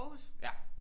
Ja